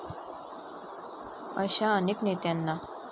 अशा अनेक नेत्यांना